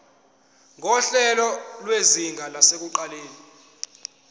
nguhlelo lwezinga lasekuqaleni